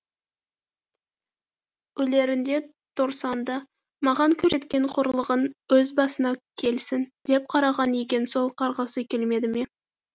өлерінде торсанды маған көрсеткен қорлығың өз басыңа келсін деп қарғаған екен сол қарғысы келмеді ме